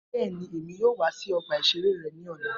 Bẹẹni, Emi yoo wa si ọgba-iṣere ere ni ọla.